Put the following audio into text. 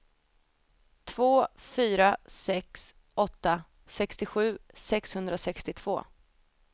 två fyra sex åtta sextiosju sexhundrasextiotvå